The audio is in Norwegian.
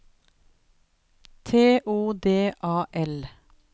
T O D A L